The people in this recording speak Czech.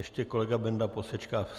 Ještě kolega Benda posečká.